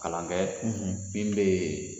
Kalan kɛ min bɛ yen